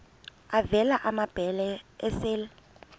avela amabele esel